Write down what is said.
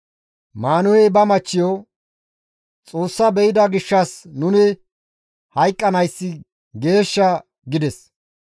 Maanuhey ba machchiyo, «Xoossa be7ida gishshas nuni hayqqanayssi geeshsha» gides.